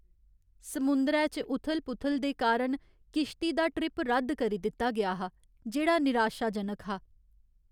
समुंदरै च उथल पुथल दे कारण किश्ती दा ट्रिप रद्द करी दित्ता गेआ हा जेह्ड़ा निराशाजनक हा।